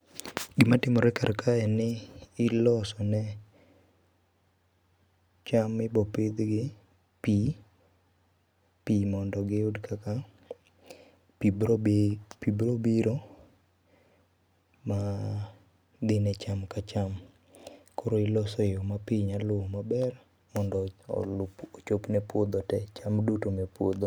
Gima timore kar ka en ni iloso ne, cham mibo pidhgi pii, pii mondo giyud kaka pii biro bi, pii biro biro ma dhine cham ka cham. Koro iloso e yoo ma pii nyaluwo maber mondo olup, ochopne puodho tee, cham duto manie puodho